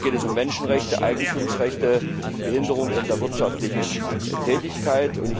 Da geht es um Menschenrechte, Eigentumsrechte, Behinderung der wirtschaftlichen Tätigkeit.